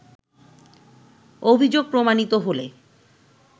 “অভিযোগ প্রমাণিত হলে